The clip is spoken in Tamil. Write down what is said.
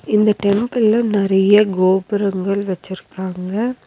இந்த டெம்பிள்ல நெறைய கோபுரங்கள் வச்சுருக்காங்க.